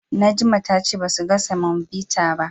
Najma ta ce basu ga Samobita ba.